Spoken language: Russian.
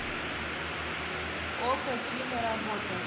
окко киноработа